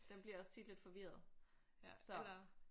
Den bliver også tit lidt forvirret så